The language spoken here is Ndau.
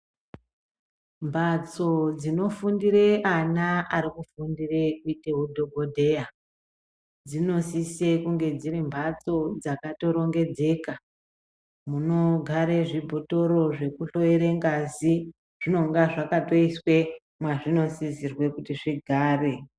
Mbatso dzinofundire ana ari kufundire kuite hudhogodheya dzinosise Kunge dziri mbatso dzakatorongedzeka. Munogare zvibhotoro zvekutore ngazi zvinonga zvakatoiswe mwazvinosisirwe kuti zvigare.